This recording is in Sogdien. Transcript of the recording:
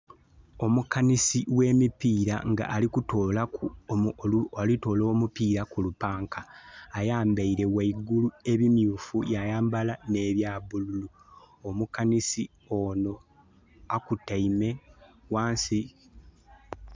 Omukanhisi oghe mipira ali kutola omupira kulupanka. ayambaire ghaigulu ebi myufu nhe bya bululu. Omukanhisi onho a kutaime ghansi.